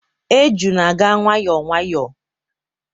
Eju na-aga nwayọọ nwayọọ